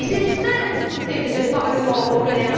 Et c'est cela la nouveauté de ce Parlement européen.